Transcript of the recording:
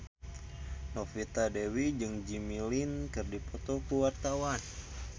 Novita Dewi jeung Jimmy Lin keur dipoto ku wartawan